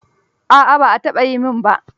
A'a ba a taɓa yi min ba.